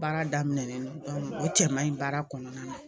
Baara daminɛnen don o cɛman in baara kɔnɔna na